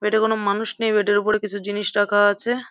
Bed এ কোন মানুষ নেই। বেড এর উপর কিছু জিনিস রাখা আছে।